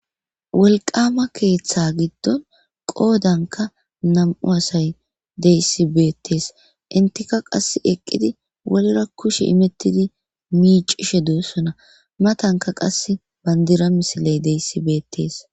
Wolqama keeththa giddon qoodanka nam7u asay deyssi beettees intika qas eqqidi wolera kushe imettidi miicishe duussona matanka qas bandira misiley deyssi beettees